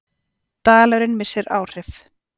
Dalurinn missir áhrif